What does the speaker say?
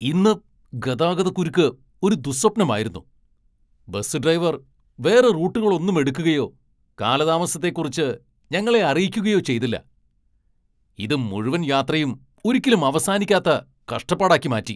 ഇന്ന് ഗതാഗതക്കുരുക്ക് ഒരു ദുഃസ്വപ്നമായിരുന്നു. ബസ് ഡ്രൈവർ വേറെ റൂട്ടുകളൊന്നും എടുക്കുകയോ കാലതാമസത്തെക്കുറിച്ച് ഞങ്ങളെ അറിയിക്കുകയോ ചെയ്തില്ല, ഇത് മുഴുവൻ യാത്രയും ഒരിക്കലും അവസാനിക്കാത്ത കഷ്ടപ്പാടാക്കി മാറ്റി!